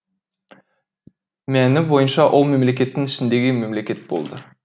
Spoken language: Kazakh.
мәні бойынша ол мемлекеттің ішіндегі мемлекет болды